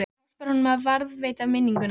Það hjálpar honum að varðveita minninguna.